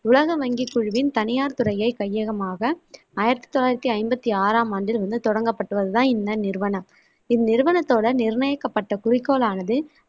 உலக வங்கிக் குழுவின் தனியார் துறையை கையகமாக ஆயிரத்தி தொள்ளாயிரத்தி ஐம்பத்தி ஆறாம் ஆண்டில் வந்து தொடங்கப்பட்டது தான் இந்த நிறுவனம். இந்நிறுவனத்தோட நிர்ணயிக்கப்பட்ட குறிக்கோளானது,